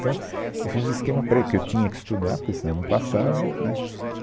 Então, eu fiz os esquema para ir, porque eu tinha que estudar, porque senão não passava, né?